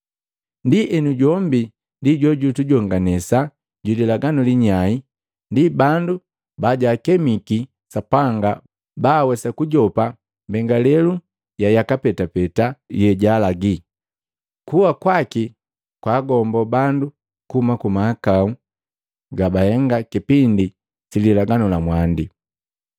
Ndienu jombi ndi jojujonganisa jwi lilaganu linyai ndi bandu bajakemiki Sapanga ba awesa kujopa mbengalelu ya yaka petapeta yejaalagi. Kuwa kwaki kwaagombo bandu kuhuma ku mahakau gabahenga kipindi si lilaganu la mwandi.